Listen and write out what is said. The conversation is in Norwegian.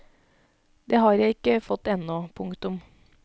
Det har jeg ikke fått ennå. punktum